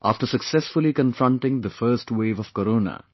After successfully confronting the first wave of Corona,